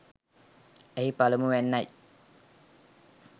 එහි පළමුවැන්න යි